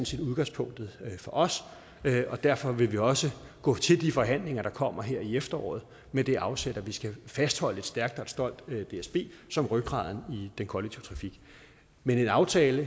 set udgangspunktet for os derfor vil vi også gå til de forhandlinger der kommer her i efteråret med det afsæt at vi skal fastholde et stærkt og et stolt dsb som rygraden i den kollektive trafik men en aftale